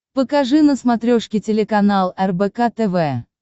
покажи на смотрешке телеканал рбк тв